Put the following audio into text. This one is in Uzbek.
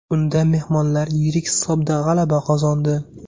Unda mehmonlar yirik hisobda g‘alaba qozondi.